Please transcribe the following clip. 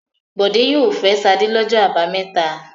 Bọ̀dé yóò fẹ́ Ṣadé lọ́jọ́ àbámẹ́ta.